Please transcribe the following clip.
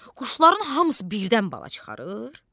Quşların hamısı birdən bala çıxarır?